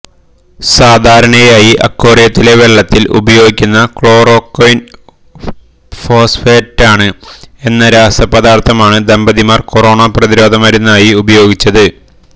സാധാരണയായി അക്വോറിയത്തിലെ വെള്ളത്തിൽ ഉപയോഗിക്കുന്ന ക്ലോറോക്വയ്ന് ഫോസ്ഫേറ്റാണ് എന്ന രാസാപദാർത്ഥമാണ് ദമ്പതിമാര് കൊറോണ പ്രതിരോധ മരുന്നായി ഉപയോഗിച്ചത്